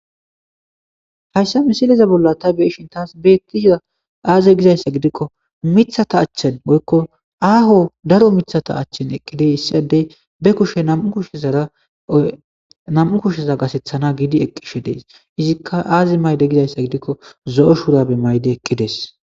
Hayssa misileza bolla ta beeshin taas beettisa aaze gizayssa gidikko mithata achchen boykko aaho daro mithata achchen eqqide hissiadey be kushe shnam'u kusheza gasethana giidi eqqishe dees izikka aazi mayde gizayssa gidikko zo'o shuurabe mayde eqqides.